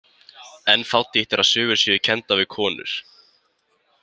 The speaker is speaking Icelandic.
En fátítt er að sögur séu kenndar við konur.